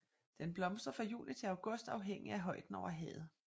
Den blomstrer fra juni til august afhængigt af højden over havet